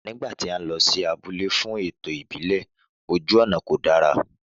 Nígbàtí a lọ sí abúlé fún ètò ìbílè ojú ònà kò dára